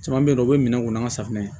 Caman bɛ yen nɔ u bɛ minɛn kɔnɔ an ka safunɛ